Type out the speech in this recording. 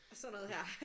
Og sådan noget her